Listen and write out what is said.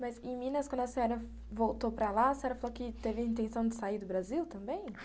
Mas, em Minas, quando a senhora voltou para lá, a senhora falou que teve a intenção de sair do Brasil também?